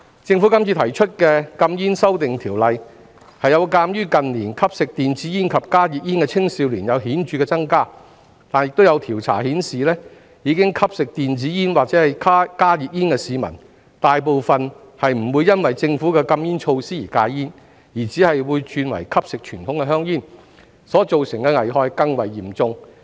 政府今次提出的禁煙修訂，是鑒於近年吸食電子煙及加熱煙的青少年顯著增加，但亦有調查顯示，已吸食電子煙或加熱煙的市民，大部分不會因為政府的禁煙措施而戒煙，只是會轉為吸食傳統香煙，所造成的危害會更為嚴重。